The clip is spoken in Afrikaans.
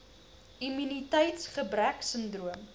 immuniteits gebrek sindroom